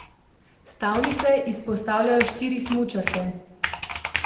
Stavnice izpostavljajo štiri smučarke.